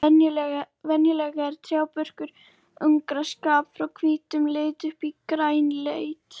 Venjulega er trjábörkur ungra aspa frá hvítum lit upp í grænleitt.